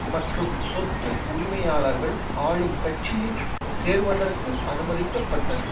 மற்றும் சொத்து உரிமையாளர்கள் ஆளும் கட்சியில் சேருவதற்கு அனுமதிக்கப்பட்டது